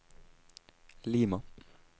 Lima